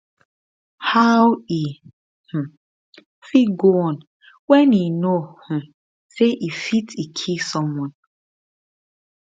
how e um fit go on wen e know um say e fit e kill someone